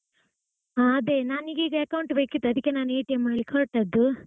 ಹಾ ಅದೇ ನಾನೀಗ account ಬೇಕಿತ್ತು ಅದಕ್ಕೆ ನಾನು ಮಾಡ್ಲಿಕ್ಕೆ ಹೊರಟದ್ದು.